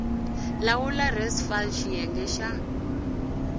lawula res fal xiyenge xa